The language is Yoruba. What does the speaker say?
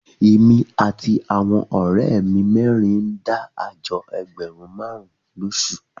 Èmi àti àwọn ọ̀rẹ́ mi mẹ́rin ń dá àjọ ẹgbẹ̀rún márùn-ún lóṣù